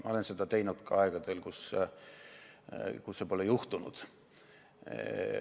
Ma olen seda teinud ka aegadel, kui nii pole juhtunud.